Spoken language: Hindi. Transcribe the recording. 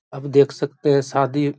अब देख सकते हैं सादी ।